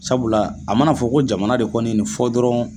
Sabula a mana fɔ ko jamana de kɔni nin fɔ dɔrɔn